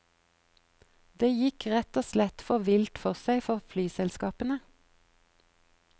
Det gikk rett og slett for vilt for seg for flyselskapene.